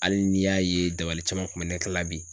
Hali n'i y'a ye dabali caman kun bɛ ne la bi.